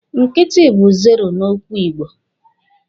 Nkịtị bu zero n'okwu igbo.